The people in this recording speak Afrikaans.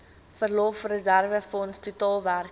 verlofreserwefonds totaal werklik